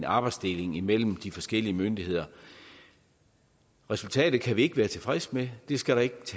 arbejdsdeling imellem de forskellige myndigheder resultatet kan vi ikke være tilfredse med det skal der ikke